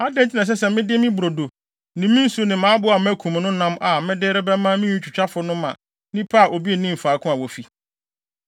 Adɛn nti na ɛsɛ sɛ mede me brodo ne me nsu ne mʼaboa a makum no nam a mede rebɛma me nwitwitwafo no ma nnipa a obi nnim faako a wofi?”